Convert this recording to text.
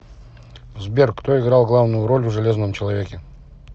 сбер кто играл главную роль в железном человеке